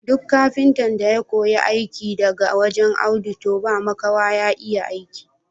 Duk kafintan da ya koyi aiki daga wajen Audu toh ba makawa ya iya aiki.